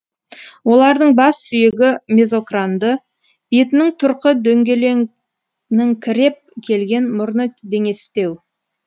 олардың бас сүйегі мезокранды бетінің тұрқы дөңгеленіңкіреп келген мұрны деңестеу